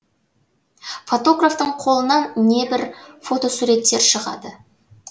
фотографтың қолынан небір фотосуреттер шығады